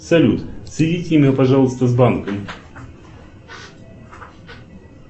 салют соедините меня пожалуйста с банком